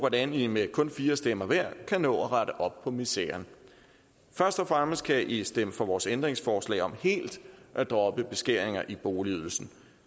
hvordan i med kun fire stemmer hver kan nå at rette op på miseren først og fremmest kan i stemme for vores ændringsforslag om helt at droppe beskæringer af boligydelsen